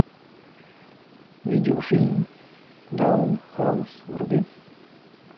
видеофильм даунхаус вруби